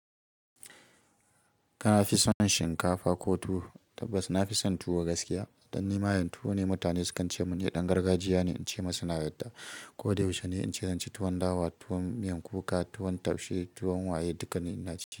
Kana fison shinkafa ko tuwo? Tabbas nafi son tuwo gaskiya. Dan ni mayen tuwo ne, mutane sukan ce mun ni ɗan gargajiya ne, ince musu na yarda. Ko da yaushe ne, ince zanci tuwon dawa, tuwon miyan kuka, tuwon taushe, tuwon waye, dukkani ina ciki.